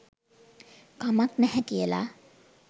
කමක් නැහැ කියලා.